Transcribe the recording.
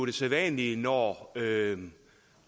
det sædvanlige når